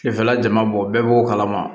Sufɛla jama bɔ bɛɛ b'o kalama